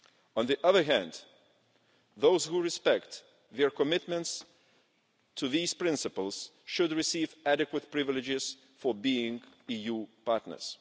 On the other hand, those who respect their commitments to these principles should receive adequate privileges for being EU partners.